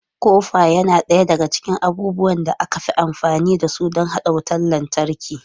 Kofa yana ɗaya daga cikin abubuwan da aka fi amfani da su don haɗa wutar lantarki.